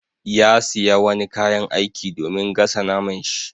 Ya siya wani kayan aiki domin gasa naman shi.